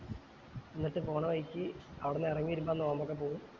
ന്നിട്ട് പോണ വഴിക്ക് അവിടുന്ന് ഇറങ്ങി വരുമ്പോ നോമ്പൊക്കെ പോവും